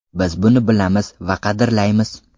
Biz buni bilamiz va qadrlaymiz.